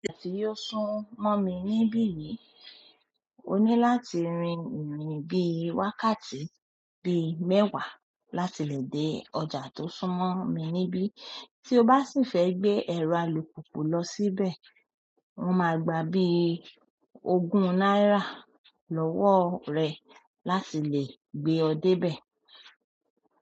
Tí ó súnmọ́ mi níbí yìí, o ní láti rìn ìrìn bíi wákàtí bíi mẹ́wàá láti lè dé ọjà tó súnmọ́ mi níbí. Tí o bá sì fẹ́ gbé ẹ̀rọ alùpùpù lọ síbẹ̀, wọ́n ma gba bíi ogún náírà lọ́wọ́ rẹ láti lè gbé ọ dé bẹ̀.